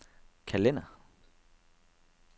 kalender